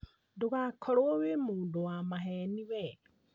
Ndũgakorwo wĩ mũndũ wa maheni wee